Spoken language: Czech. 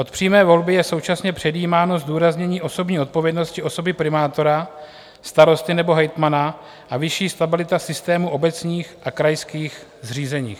Od přímé volby je současně předjímáno zdůraznění osobní odpovědnosti osoby primátora, starosty nebo hejtmana a vyšší stabilita systému obecních a krajských zřízení.